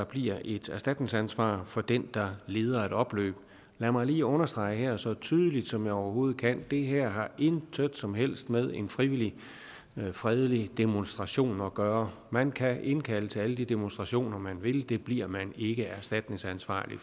bliver et erstatningsansvar for den der leder et opløb lad mig lige understrege her så tydeligt som jeg overhovedet kan det her har intet som helst med en frivillig fredelig demonstration at gøre man kan indkalde til alle de demonstrationer man vil det bliver man ikke erstatningsansvarlig